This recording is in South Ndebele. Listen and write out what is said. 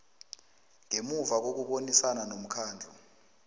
ngemuva kokubonisana nomkhandlu